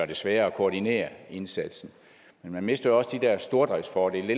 det sværere at koordinere indsatsen og man mister og også de der stordriftsfordele